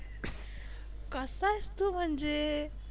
कसा आहेस तू म्हणजे?